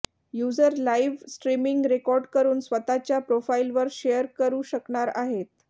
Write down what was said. user live streaming record करुन स्वतःच्या प्रोफाइलवर शेअर करू शकणार आहेत